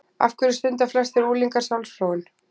Af hverju stunda flestir unglingar sjálfsfróun?